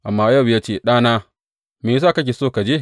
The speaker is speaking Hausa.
Amma Yowab ya ce, Ɗana me ya sa kake so ka je?